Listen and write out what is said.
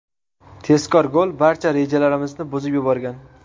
Tezkor gol barcha rejalarimizni buzib yuborgan.